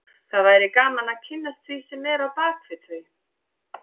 Það væri gaman að kynnast því sem er á bak við þau